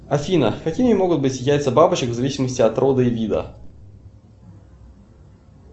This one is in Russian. афина какими могут быть яйца бабочек в зависимости от рода и вида